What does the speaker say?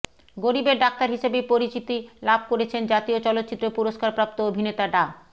গরিবের ডাক্তার হিসেবেই পরিচিতি লাভ করেছেন জাতীয় চলচ্চিত্র পুরস্কারপ্রাপ্ত অভিনেতা ডা